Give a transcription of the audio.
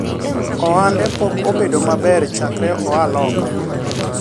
ohande pok obedo maber chakre oa Loka